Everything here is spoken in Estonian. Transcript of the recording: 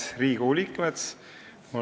Head Riigikogu liikmed!